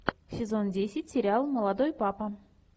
сезон десять сериал молодой папа